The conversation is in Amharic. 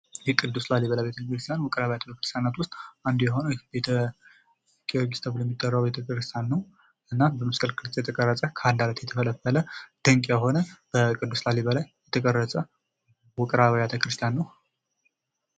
የቅዱስ ላሊበላ ውቅር አብያተ-ክርስቲያን አንዱ የሆነው ቤተ-ጊወርጊስ ተብሎ የሚጠራው ቤተ-ክርስቲያን ነው። እና በመስቀል ቅርጽ የተቀረጸ ፣ የተፈለፈል ድንቅ የሆነ በቅዱስ ላሊበላ የተቀረጸ ውቅር አብያተ-ክርስቲያን ነው።